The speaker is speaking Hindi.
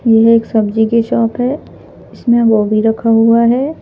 यह एक सब्जी की शॉप है इसमें गोभी रखा हुआ है।